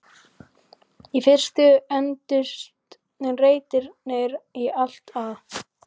Í fyrstu entust reitirnir í allt að